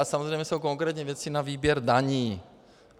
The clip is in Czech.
A samozřejmě jsou konkrétní věci na výběr daní.